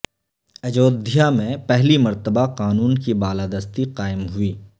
اجودھیا میں پہلی مرتبہ قانون کی بالادستی قائم ہوئی